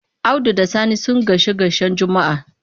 Audu da Sani sun gaishe-gaishen Juma'a.